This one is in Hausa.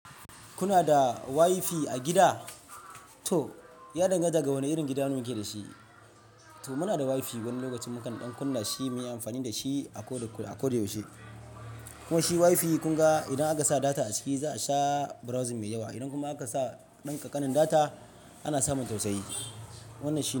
Kuna da WiFi a gida? To, ya danganta da wane irin gida muke da shi. To muna da WiFi wani lokaci mukan ɗan kunna shi muyi amfani da shi akoda, akoda yaushe. Kuma shi WiFi kun ga idan aka sa data a ciki za a sha browsing mai yawa. Idan kuma aka sa ɗan ƙanƙanin data ana samun sosai. Wannan shi.